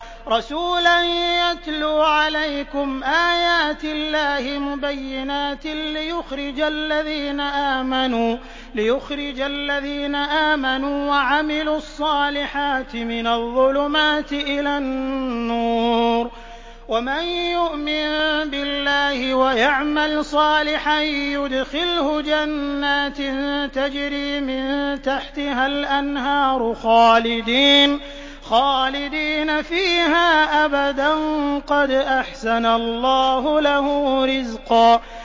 رَّسُولًا يَتْلُو عَلَيْكُمْ آيَاتِ اللَّهِ مُبَيِّنَاتٍ لِّيُخْرِجَ الَّذِينَ آمَنُوا وَعَمِلُوا الصَّالِحَاتِ مِنَ الظُّلُمَاتِ إِلَى النُّورِ ۚ وَمَن يُؤْمِن بِاللَّهِ وَيَعْمَلْ صَالِحًا يُدْخِلْهُ جَنَّاتٍ تَجْرِي مِن تَحْتِهَا الْأَنْهَارُ خَالِدِينَ فِيهَا أَبَدًا ۖ قَدْ أَحْسَنَ اللَّهُ لَهُ رِزْقًا